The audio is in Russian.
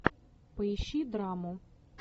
поищи драму